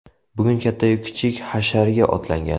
Bugun katta-yu kichik hasharga otlangan.